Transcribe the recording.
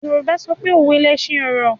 Yorùbá sọpé “ òwe lẹṣin ọ̀rọ̀”.